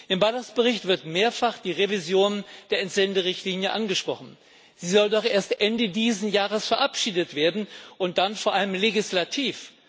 Im Bericht Balas wird mehrfach die Revision der Entsenderichtlinie angesprochen. Sie soll doch erst Ende diesen Jahres verabschiedet werden und dann vor allem legislativ.